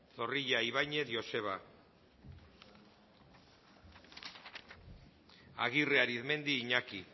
zorrilla ibañez joseba agirre arizmendi iñaki